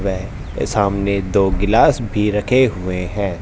वे सामने दो गिलास भी रखे हुए हैं।